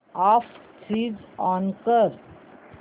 app switch on कर